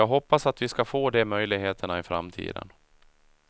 Jag hoppas att vi ska få de möjligheterna i framtiden.